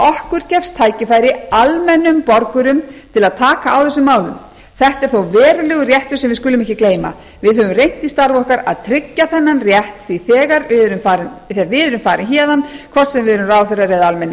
okkur gefst tækifæri almennum borgum til að taka á þessum málum þetta er þó verulegur réttur sem við skulum ekki gleyma við höfum reynt í starfi okkar að tryggja þennan rétt þegar við erum farin héðan hvort sem við erum ráðherrar eða almennir